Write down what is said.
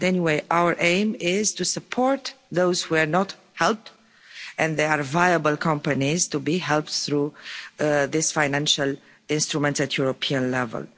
But anyway, our aim is to support those who are not helped and there are viable companies to be helped through this financial instrument at European level.